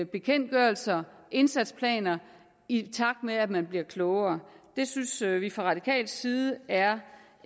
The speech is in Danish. bekendtgørelser indsatsplaner i takt med at man bliver klogere det synes vi fra radikal side er